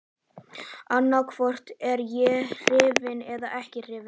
Annaðhvort er ég hrifinn eða ekki hrifinn.